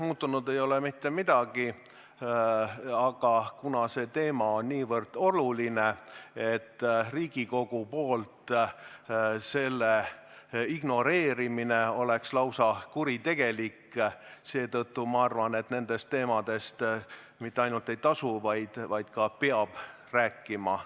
Muutunud ei ole mitte midagi, aga kuna see teema on nii oluline, et selle ignoreerimine Riigikogu poolt oleks lausa kuritegelik, siis ma arvan, et nendest teemadest mitte ainult ei tasu rääkida, vaid ka peab rääkima.